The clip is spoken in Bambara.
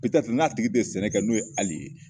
n'a tigi tɛ sɛnɛ n'o ye ali ye